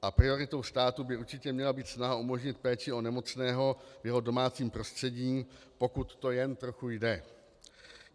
A prioritou státu by určitě měla být snaha umožnit péči o nemocného v jeho domácím prostředí, pokud to jen trochu jde.